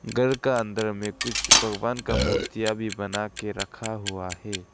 घर का अंदर में कुछ भगवान का मूर्तियां भी बनाके रखा हुआ है।